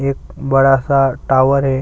एक बड़ा सा टावर है।